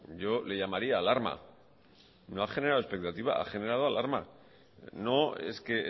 yo le llamaría alarma no ha generado expectativa ha generado alarma no es que